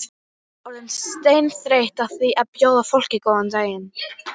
Orðin seinþreytt á því að bjóða fólkinu góðan daginn.